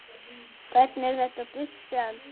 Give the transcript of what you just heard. Hvernig er þetta gult spjald?